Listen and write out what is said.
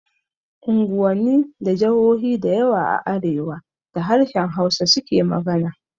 Unguwanni da jahohi dayawa a arewa da harshen Hausa su ke magana